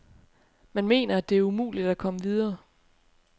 Man mener, at det er umuligt at komme videre.